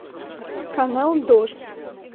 канал дождь